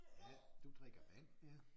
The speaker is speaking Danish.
Ja du drikker vand ja